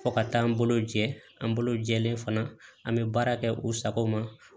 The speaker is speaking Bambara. Fɔ ka taa n bolo jɛ an bolo jɛlen fana an bɛ baara kɛ u sago ma